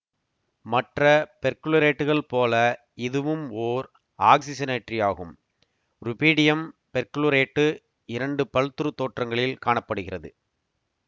மற்ற பெர்குளோரேட்டுகள் போல இதுவும் ஓர் ஆக்சிசனேற்றியாகும் ருபீடியம் பெர்குளோரேட்டு இரண்டு பல்த்ருத் தோற்றங்களில் காண படுகிறது